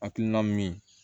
Hakilina min